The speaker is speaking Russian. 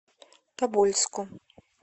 тобольску